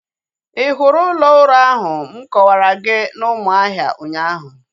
Ị hụrụ ụlọ ụrọ ahụ m kọwara gị na Umuahia ụnyaahụ?